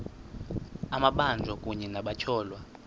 amabanjwa kunye nabatyholwa